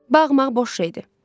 Bağmaq boş şeydir.